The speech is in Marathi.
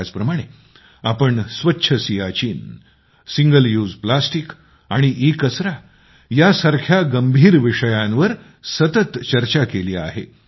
त्याचप्रमाणे आम्ही स्वच्छ सियाचीन सिंगल यूज प्लास्टिक आणि ईकचरा यासारख्या गंभीर विषयांवर आम्ही सतत चर्चा केली आहे